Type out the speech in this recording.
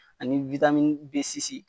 Ani